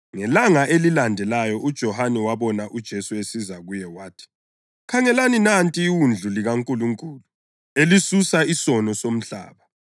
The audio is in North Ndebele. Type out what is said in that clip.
Ngelanga elilandelayo uJohane wabona uJesu esiza kuye wathi, “Khangelani, nanti iWundlu likaNkulunkulu elisusa isono somhlaba!